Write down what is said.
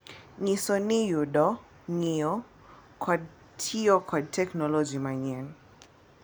Nyiso ni yudo, ng’iyo, kod tiyo kod teknoloji manyien.